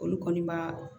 Olu kɔni ma